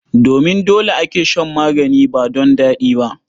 Domin dole ake shan magani ba don daɗi ba.